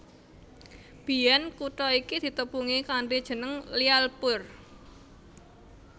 Biyèn kutha iki ditepungi kanthi jeneng Lyallpur